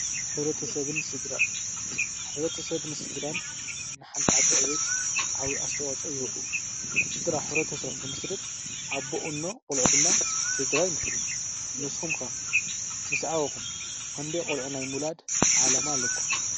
ሕብረተሰብን ስደራ ንሓንቲ ዓዲ ዕብየት ዓብይ አስተዋፅኣ ይህቡ ስደራ ሕብረተስብ እንትምስርት አቦ እኖ ቆልዑ ድማ ስደራ ይምስርቱ ንስኩም ከ ምስ ዓበኩም ክንደይ ቆልዑ ናይ ምውላደ ዕላማ አለኩም?